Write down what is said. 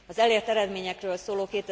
Az elért eredményekről szóló